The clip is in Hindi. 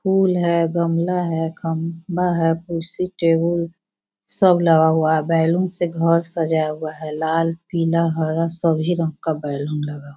फूल है गमला है खंबा है कुर्सी टेबल सब लगा हुआ है बैलून से घर सजा हुआ है लाल पीला हरा सभी रंग का बैलून लगा --